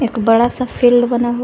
बड़ा सा फील्ड बना हुआ--